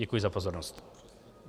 Děkuji za pozornost.